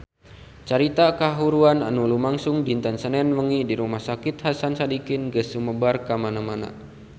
Carita kahuruan anu lumangsung dinten Senen wengi di Rumah Sakit Hasan Sadikin geus sumebar kamana-mana